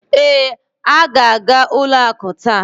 Ee, ha ga-aga ụlo akụ taa.